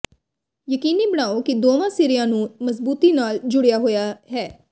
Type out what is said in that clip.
ਯਕੀਨੀ ਬਣਾਓ ਕਿ ਦੋਵਾਂ ਸਿਰਿਆਂ ਨੂੰ ਮਜ਼ਬੂਤੀ ਨਾਲ ਜੁੜਿਆ ਹੋਇਆ ਹੈ